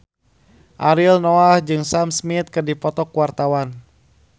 Ariel Noah jeung Sam Smith keur dipoto ku wartawan